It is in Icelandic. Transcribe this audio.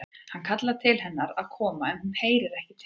Hann kallar til hennar að koma en hún heyrir ekki til hans.